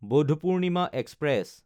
Buddha Purnima express